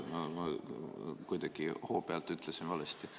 Ma kuidagi hoo pealt ütlesin valesti.